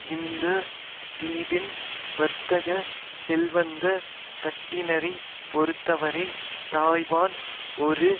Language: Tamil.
இந்த தீவின் வர்த்தக செல்வந்த தட்டினரைப் பொறுத்தவரை தாய்வான் ஒரு